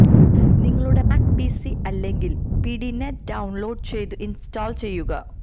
നിങ്ങളുടെ Mac PC അല്ലെങ്കിൽ PdaNet download ചെയ്ത് ഇൻസ്റ്റാൾ ചെയ്യുക